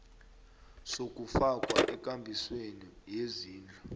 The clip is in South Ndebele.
sokufakwa ekambisweni yezindlu